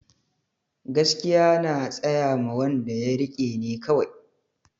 Gaskiya na tsayama wanda ya rike ne kawai